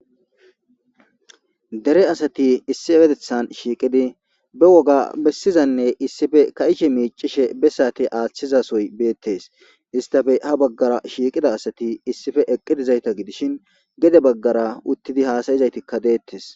Dere asati issi ewetethan shiiqidi be woga bessizanne issife ka'ishe miicishe be saati aaththizasoy beettes istafe ha baggara shiiqida asati issife eqqidizayta gidishin gede baggara uttidi haasayizaytikka deettes.